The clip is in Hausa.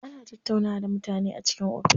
Ana tattaunawa da mutane a cikin ofis.